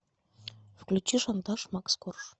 включи шантаж макс корж